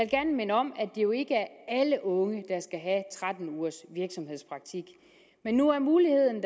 gerne minde om at det jo ikke er alle unge der skal have tretten ugers virksomhedspraktik men nu er muligheden